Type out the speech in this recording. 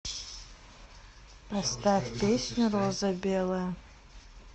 поставь песню роза белая